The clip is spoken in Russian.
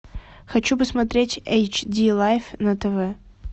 хочу посмотреть эйч ди лайф на тв